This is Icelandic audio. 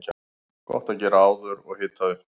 Gott að gera áður og hita upp.